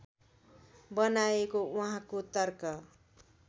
बनाएको उहाँको तर्क